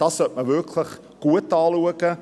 Man sollte es wirklich gut anschauen.